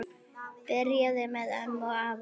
Byrjaði með ömmu og afa